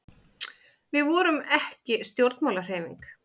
við vorum ekki stjórnmálahreyfing